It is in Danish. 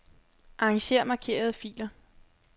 Arranger markerede filer.